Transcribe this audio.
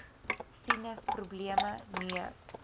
sinus probleme neus